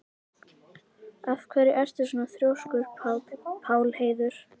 Af hverju ertu svona þrjóskur, Pálheiður?